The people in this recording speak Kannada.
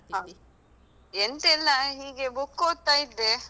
ಹ ಎಂತ ಇಲ್ಲ, ಹೀಗೆ book ಓದ್ತಾ ಇದ್ದೆ.